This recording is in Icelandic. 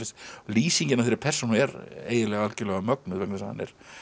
lýsingin á þeirri persónu er eiginlega algjörlega mögnuð vegna þess að hann er